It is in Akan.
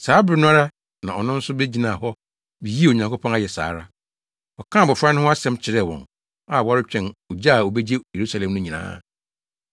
Saa bere no ara na ɔno nso begyinaa hɔ bi yii Onyankopɔn ayɛ saa ara. Ɔkaa abofra no ho asɛm kyerɛɛ wɔn a wɔretwɛn ogye a obegye Yerusalem no nyinaa.